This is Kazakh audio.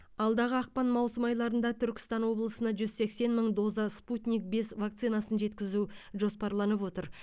алдағы ақпан маусым айларында түркістан облысына жүз сексен мың доза спутник бес вакцинасын жеткізу жоспарланып отыр